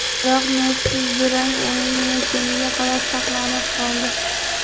Biroq nursiz durang o‘yin yakuniga qadar saqlanib qoldi.